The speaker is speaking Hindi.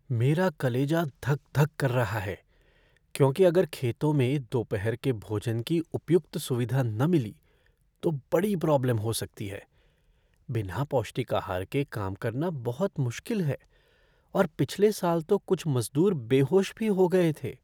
मेरा कलेजा धक धक कर रहा है क्योंकि अगर खेतों में दोपहर के भोजन की उपयुक्त सुविधा न मिली तो बड़ी प्रॉब्लम हो सकती है। बिना पौष्टिक आहार के काम करना बहुत मुश्किल है और पिछले साल तो कुछ मज़दूर बेहोश भी हो गए थे।